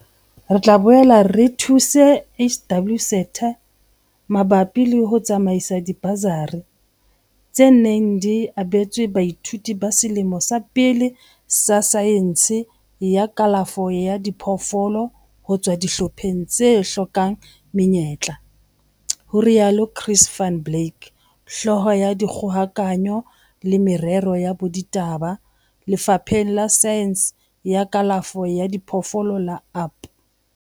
Re tla boela re thuse HWSETA mabapi le ho tsamaisa dibasari, tse neng di abetswe baithuti ba selemo sa pele sa saense ya kalafo ya diphoofolo ho tswa dihlopheng tse hlokang menyetla, ho rialo Chris van Blerk, Hlooho ya Dikgokahanyo le Merero ya Boraditaba Lefapheng la Saense ya Kalafo ya Diphoofolo la UP.